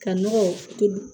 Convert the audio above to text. Ka nɔgɔ toli